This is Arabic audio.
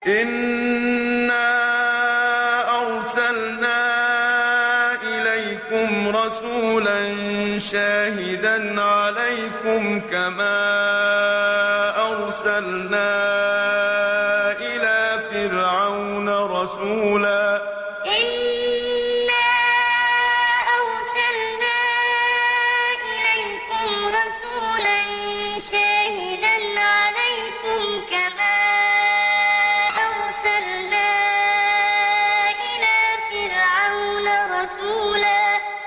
إِنَّا أَرْسَلْنَا إِلَيْكُمْ رَسُولًا شَاهِدًا عَلَيْكُمْ كَمَا أَرْسَلْنَا إِلَىٰ فِرْعَوْنَ رَسُولًا إِنَّا أَرْسَلْنَا إِلَيْكُمْ رَسُولًا شَاهِدًا عَلَيْكُمْ كَمَا أَرْسَلْنَا إِلَىٰ فِرْعَوْنَ رَسُولًا